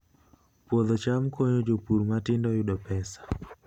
Puodho cham konyo jopur matindo yudo pesa